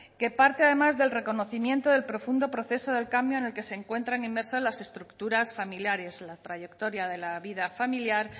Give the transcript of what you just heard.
que parte además del reconocimiento del profundo proceso del cambio en el que se encuentran inmersas las estructuras familiares la trayectoria de la vida familiar